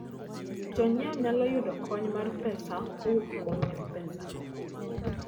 Jonyiewo nyalo yudo kony mar pesa kowuok kuom M-Pesa.